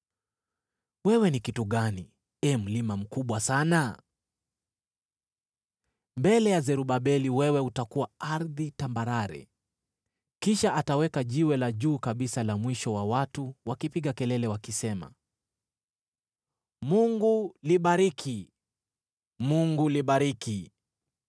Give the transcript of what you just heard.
“Wewe ni kitu gani, ee mlima mkubwa sana? Mbele ya Zerubabeli wewe utakuwa ardhi tambarare. Kisha ataweka jiwe la juu kabisa la mwisho na watu wakipiga kelele wakisema, ‘Mungu libariki! Mungu libariki!’ ”